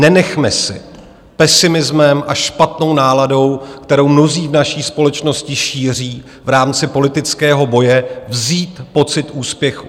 Nenechme si pesimismem a špatnou náladou, kterou mnozí v naší společnosti šíří v rámci politického boje, vzít pocit úspěchu.